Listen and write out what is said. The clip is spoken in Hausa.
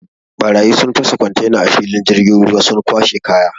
Ɓarayi sun fasa kontena a filin jirgin ruwa sun kwashe kaya.